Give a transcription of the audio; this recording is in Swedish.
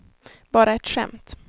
bara ett skämt